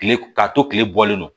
Kile k'a to kile bɔlen don